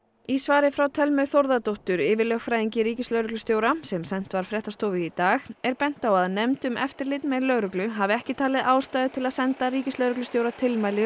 í svari frá Thelmu Þórðardóttur yfirlögfræðingi ríkislögreglustjóra sem sent var fréttastofu í dag er bent á að nefnd um eftirlit með lögreglu hafi ekki talið ástæðu til að senda ríkislögreglustjóra tilmæli